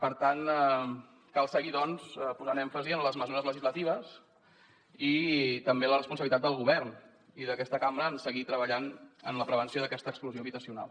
per tant cal seguir doncs posant èmfasi en les mesures legislatives i també en la responsabilitat del govern i d’aquesta cambra en seguir treballant en la prevenció d’aquesta exclusió habitacional